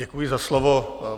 Děkuji za slovo.